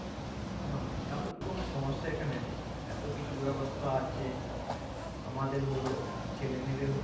বাহ তাহলে তো কোনো সমস্যা এখানে নেই এতো কিছু ব্যাবস্থা আছে আমাদের হল ছেলে-মেয়ে দেড় হল